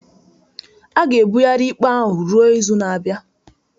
A ga-ebigharị ikpe ahụ ruo izu na-abịa